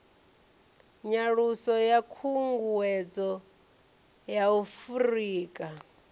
nyaluso ya khunguwedzo ya afurika